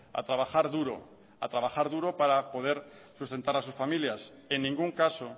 a trabajar duro a trabajar duro para poder sustentar a sus familias en ningún caso